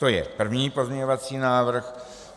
To je první pozměňovací návrh.